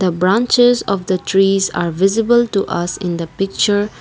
the branches of the trees are visible to us in the picture.